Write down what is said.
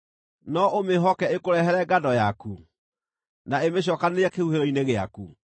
No ũmĩĩhoke ĩkũrehere ngano yaku, na ĩmĩcookanĩrĩrie kĩhuhĩro-inĩ gĩaku?